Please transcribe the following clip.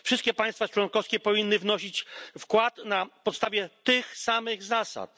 Wszystkie państwa członkowskie powinny wnosić wkład na podstawie tych samych zasad.